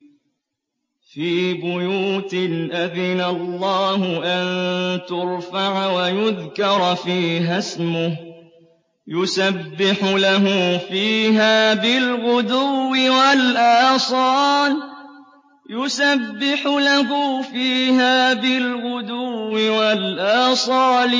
فِي بُيُوتٍ أَذِنَ اللَّهُ أَن تُرْفَعَ وَيُذْكَرَ فِيهَا اسْمُهُ يُسَبِّحُ لَهُ فِيهَا بِالْغُدُوِّ وَالْآصَالِ